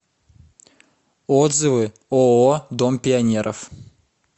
отзывы ооо дом пионеров